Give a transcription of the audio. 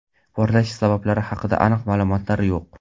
Portlashlar sabablari haqida aniq ma’lumotlar yo‘q.